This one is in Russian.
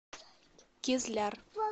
кизляр